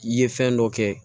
I ye fɛn dɔ kɛ